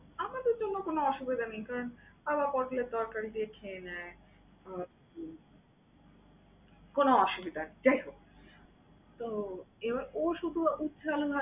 আমাদের জন্য কোন অসুবিধা নেই কারণ, বাবা পটলের তরকারি দিয়ে খেয়ে নেয়। আহ কোন অসুবিধা নেই, যাই হোক। তো এবার ও শুধু উস্তা আলু ভাজা